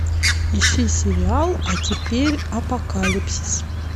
ищи сериал а теперь апокалипсис